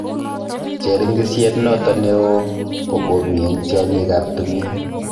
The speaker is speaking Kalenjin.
Cheringisyet noto neoo ko komii eng' tyang'iik ab timiin